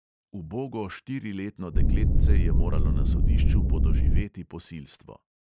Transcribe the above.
Ubogo štiriletno dekletce je moralo na sodišču podoživeti posilstvo!